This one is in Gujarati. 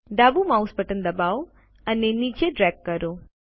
ડાબુ માઉસ બટન દબાવો અને નીચે ડ્રેગ કરો